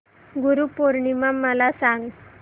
गुरु पौर्णिमा मला सांग